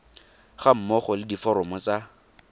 ga mmogo le diforomo tsa